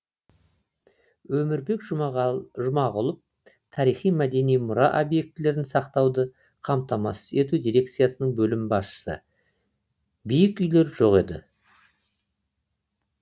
өмірбек жұмағұлов тарихи мәдени мұра объектілерін сақтауды қамтамасыз ету дирекциясының бөлім басшысы биік үйлер жоқ еді